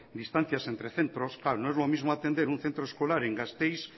distancia entre centros claro no es lo mismo atender un centro escolar en gasteiz